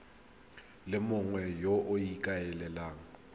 le mongwe yo o ikaelelang